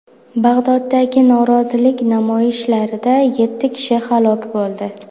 Bag‘doddagi norozilik namoyishlarida yetti kishi halok bo‘ldi.